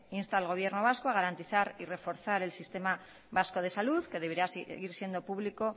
insta al gobierno vasco a garantizar y reforzar el sistema vasco de salud que debería seguir siendo público